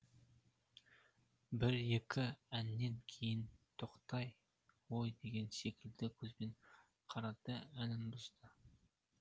бір екі әннен кейін тоқтай ғой деген секілді көзбен қарады да әнін бұздың